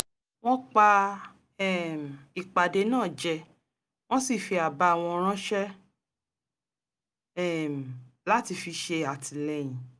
wọ́n pa um ìpàdé náà jẹ wọ́n sì fi àbá wọn ránṣẹ́ um láti fi ṣè àtìlẹ́yìn